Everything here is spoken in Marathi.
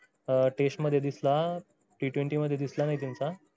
test मध्ये दिसला t twenty मध्ये दिसला नाही त्यांचा